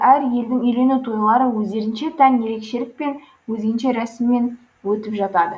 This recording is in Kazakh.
әр елдің үйлену тойлары өздерінше тән ерекшелікпен өзгеше рәсіммен өтіп жатады